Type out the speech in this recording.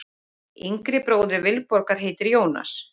Yngri bróðir Vilborgar heitir Jónas.